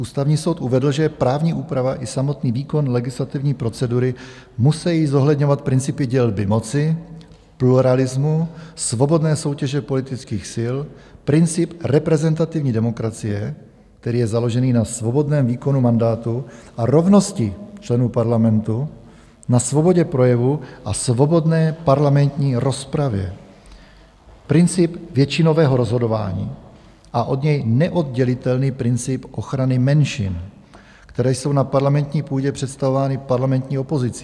Ústavní soud uvedl, že právní úprava i samotný výkon legislativní procedury musejí zohledňovat principy dělby moci, pluralismu, svobodné soutěže, politických sil, princip reprezentativní demokracie, který je založený na svobodném výkonu mandátu a rovnosti členů parlamentu, na svobodě, projevu a svobodné parlamentní rozpravě, Princip většinového rozhodování a od něj neoddělitelný princip ochrany menšin, které jsou na parlamentní půdě představovány parlamentní opozicí.